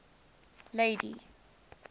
lady